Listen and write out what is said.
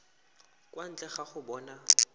kwa ntle ga go bona